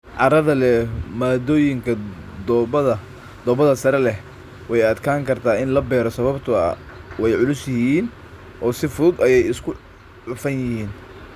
Carrada leh maaddooyinka dhoobada sare leh way adkaan kartaa in la beero sababtoo ah way culus yihiin oo si fudud ayay isu cufan yihiin.